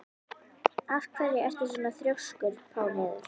Af hverju ertu svona þrjóskur, Pálheiður?